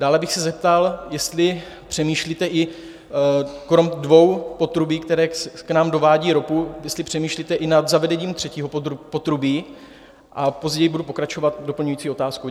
Dále bych se zeptal, jestli přemýšlíte i kromě dvou potrubí, která k nám dovádí ropu, jestli přemýšlíte i nad zavedením třetího potrubí, a později budu pokračovat doplňující otázkou.